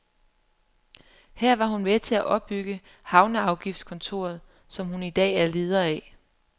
Her var hun med til at opbygge havneafgiftskontoret, som hun i dag er leder af.